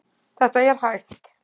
Þetta er hægt.